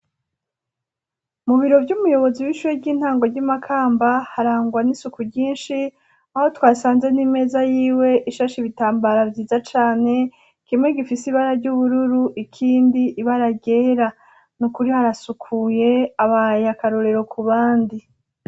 Mu biro vy'umuyobozi w'ishure ry'intango ry'i Makamba harangwa n'isuku ryinshi aho twasanze n'imeza yiwe ishashe ibitambara vyiza cane kimwe gifise ibara ry'ubururu ikindi ibara ryera. Nukuri harasukuye abaye akarorero ku bandi.